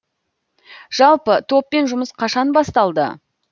жалпы топпен жұмыс қашан басталды